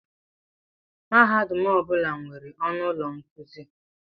Mahadum ọ bụla nwere ọnụ ụlọ nkuzi.